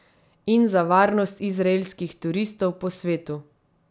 In za varnost izraelskih turistov po svetu.